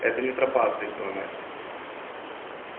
это не тропа ответила настя